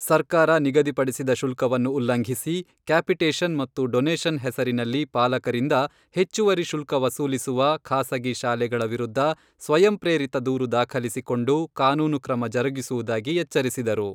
ಸರ್ಕಾರ ನಿಗದಿ ಪಡಿಸಿದ ಶುಲ್ಕವನ್ನು ಉಲ್ಲಂಘಿಸಿ, ಕ್ಯಾಪಿಟೇಷನ್ ಮತ್ತು ಡೊನೆಷನ್ ಹೆಸರಿನಲ್ಲಿ ಪಾಲಕರಿಂದ ಹೆಚ್ಚುವರಿ ಶುಲ್ಕ ವಸೂಲಿಸುವ ಖಾಸಗಿ ಶಾಲೆಗಳ ವಿರುದ್ಧ ಸ್ವಯಂ ಪ್ರೇರಿತ ದೂರು ದಾಖಲಿಸಿಕೊಂಡು, ಕಾನೂನು ಕ್ರಮ ಜರುಗಿಸುವುದಾಗಿ ಎಚ್ಚರಿಸಿದರು.